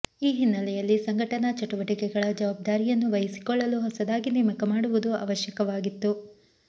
ಈ ಹಿನ್ನಲೆಯಲ್ಲಿ ಸಂಘಟನಾ ಚಟುವಟಿಕೆಗಳ ಜವಾಬ್ದಾರಿಯನ್ನು ವಹಿಸಿಕೊಳ್ಳಲು ಹೊಸದಾಗಿ ನೇಮಕ ಮಾಡುವುದು ಅವಶ್ಯವಾಗಿತ್ತು